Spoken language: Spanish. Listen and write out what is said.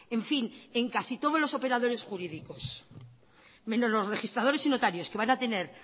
en fin en casi todos los operadores jurídicos menos los registradores y notarios que van a tener